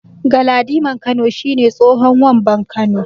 Galadiman Kano shi ne tsohon Wamban Kano.